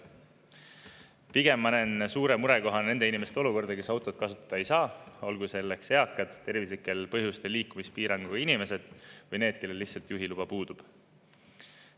Pigem ma näen suure murekohana nende inimeste olukorda, kes autot kasutada ei saa, olgu selleks eakad, tervislikel põhjustel liikumispiiranguga inimesed või need, kellel lihtsalt juhiluba puudub.